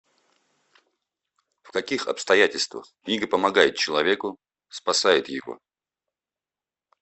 в каких обстоятельствах книга помогает человеку спасает его